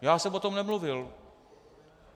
Já jsem o tom nemluvil.